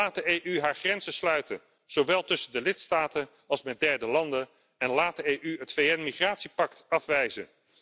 Laat de EU haar grenzen sluiten, zowel tussen de lidstaten als met derde landen, en laat de EU het VN migratiepact afwijzen.